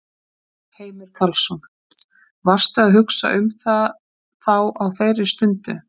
Heimir Karlsson: Varstu að hugsa um það þá á þeirri stundu?